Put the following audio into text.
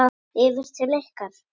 Yfir til ykkar?